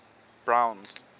browns